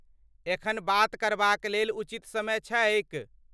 एखन बात करबाक लेल उचित समय छैक ?